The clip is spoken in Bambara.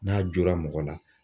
N'a jora mɔgɔ la.